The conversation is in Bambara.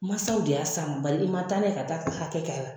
Masaw de y'a s'a bari i man taa n'a ye ka taa a ka hakɛ ka